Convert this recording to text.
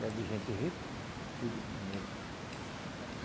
Era de gente rico, tudo de primeira.